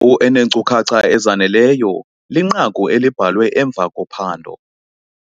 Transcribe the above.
wu eneenkcukacha ezaneleyo linqaku elibhalwe emva kophando.